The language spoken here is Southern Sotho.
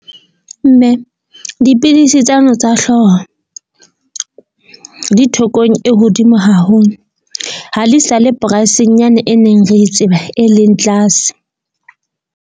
Mme dipidisi tsane tsa hlooho di thekong e hodimo haholo. Ha le sale price-eng yane e neng re tseba e leng tlase.